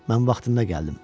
Mən vaxtında gəldim.